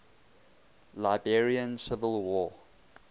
liberian civil war